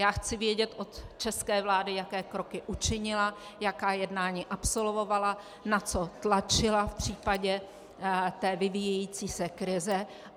Já chci vědět od české vlády, jaké kroky učinila, jaká jednání absolvovala, na co tlačila v případě té vyvíjející se krize.